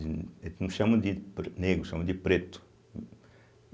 de eles não chamam de pre negro, chamam de preto.